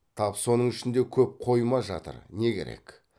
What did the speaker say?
тап соның ішінде көп қойма жатыр не керек